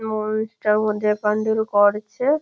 ময়ূরটার মধ্যে প্যান্ডেল করছে --